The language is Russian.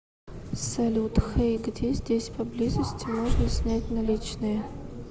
салют хэй где здесь поблизости можно снять наличные